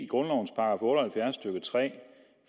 grundlovens § otte og halvfjerds stykke tre